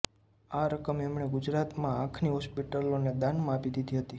આ રકમ એમણે ગુજરાત માં આંખની હોસ્પિટલો ને દાનમાં આપી દીધી હતી